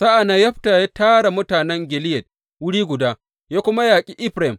Sa’an nan Yefta ya tara mutanen Gileyad wuri guda ya kuma yaƙi Efraim.